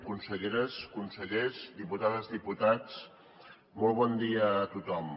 conselleres consellers diputades diputats molt bon dia a tothom